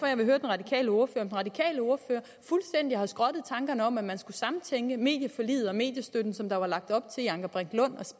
jeg vil høre den radikale ordfører om den radikale ordfører fuldstændig har skrottet tankerne om at man skulle samtænke medieforliget og mediestøtten som der var lagt op til i anker brink lund og